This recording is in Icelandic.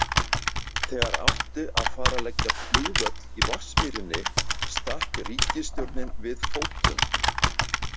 Þegar átti að fara að leggja flugvöll í Vatnsmýrinni stakk ríkisstjórnin við fótum.